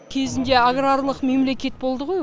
кезінде аграрлық мемлекет болды ғой